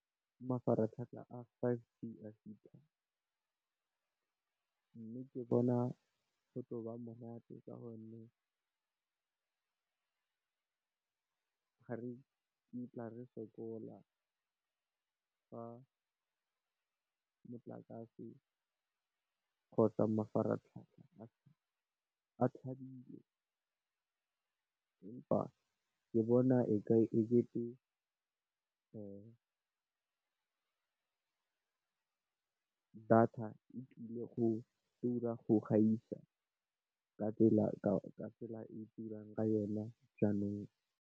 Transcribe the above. Mafaratlhatlha ga five G a fitlha, mme, ke bona go tla nna monate ka gonne ga re kitla re sokola ka motlakase, kgotsa mafaratlhatlha a tshabileng empa, ke bona e kete data e tlile go tura go gaisa ka tsela e e turang ka yona jaanong.